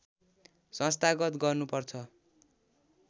संस्थागत गर्नुपर्छ